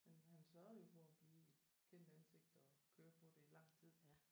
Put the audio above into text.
Men han sørgede jo for at blive et kendt ansigt og køre på det i lang tid